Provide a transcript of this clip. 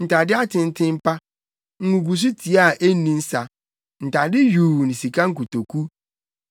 ntade atenten pa, nguguso tiaa a enni nsa, ntade yuu ne sika nkotoku;